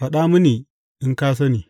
Faɗa mini in ka sani!